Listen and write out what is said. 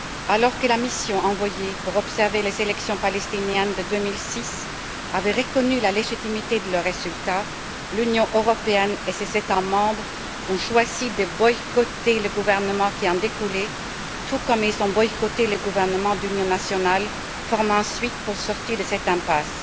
Alors que la mission envoyée pour observer les élections palestiniennes de 2006 avait reconnu la légitimité de leur résultat, l'Union européenne et ses États membres ont choisi de boycotter le gouvernement qui en découlait, tout comme ils ont boycotté le gouvernement d'union nationale formé ensuite pour sortir de cette impasse.